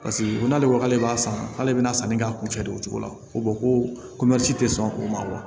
Paseke ko n'ale ko k'ale b'a san k'ale bɛna sanni k'a kun fɛ de o cogo la ko ko tɛ sɔn o ma